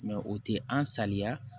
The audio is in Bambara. o tɛ an saliya